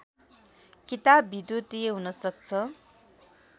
किताब विधुतीय हुनसक्छ